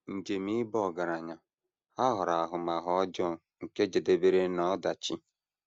Njem ịba ọgaranya ha ghọrọ ahụmahụ ọjọọ nke jedebere n’ọdachi.